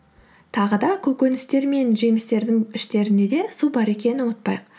тағы да көкөністер мен жемістердің іштерінде де су бар екенін ұмытпайық